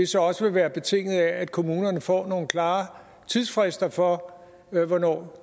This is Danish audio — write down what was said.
så også vil være betinget af at kommunerne får nogle klare tidsfrister for hvornår